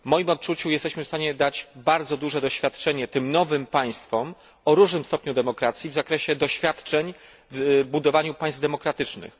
W moim odczuciu jesteśmy w stanie przekazać bardzo duże doświadczenie tym nowym państwom o różnym stopniu demokratyzacji w zakresie doświadczeń w budowaniu państw demokratycznych.